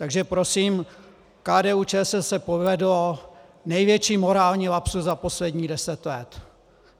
Takže prosím, KDU-ČSL se povedl největší morální lapsus za posledních deset let.